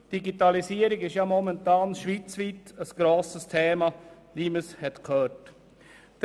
Die Digitalisierung ist momentan schweizweit ein grosses Thema, wie wir gehört haben.